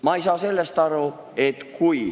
Ma ei saa ühest asjast aru.